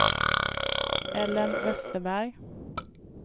Ellen Westerberg